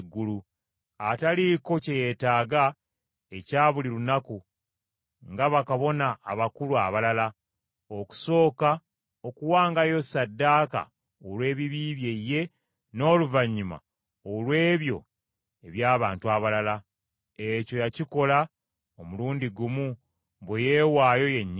ataliiko kye yeetaaga ekya buli lunaku, nga bakabona abakulu abalala, okusooka okuwangayo ssaddaaka olw’ebibi bye ye, n’oluvannyuma olw’ebyo eby’abantu abalala. Ekyo yakikola omulundi gumu, bwe yeewaayo yennyini.